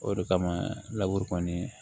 O de kama laburu kɔni